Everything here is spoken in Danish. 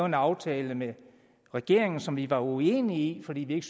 en aftale med regeringen som vi var uenige i fordi vi ikke